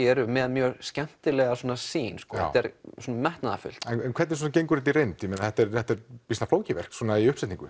eru með mjög skemmtilega sýn þetta er metnaðarfullt hvernig gengur þetta í reynd býsna flókið verk í uppsetningu